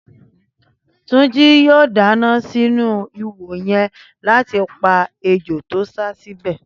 Túnjí yoo dáná sínú iwò yẹn láti pa ejò tó sá síbẹ̀